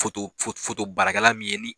Baarakɛlan min ye ni